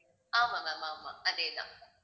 ஆமா ma'am ஆமா அதே தான்